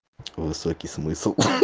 высокий смысл